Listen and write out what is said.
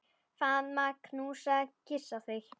Faðma, knúsa, kyssi þig.